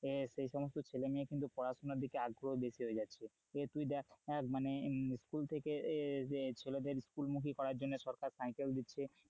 সেই সমস্ত ছেলে মেয়ে কিন্তু পড়াশোনা দিকে আগ্রহ বেশি হয়ে যাচ্ছে, তুই দেখ মানে স্কুল থেকে এই যে ছেলেদের স্কুলমুখী করার জন্য সরকার সাইকেল দিচ্ছে,